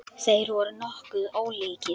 Þeir voru nokkuð ólíkir.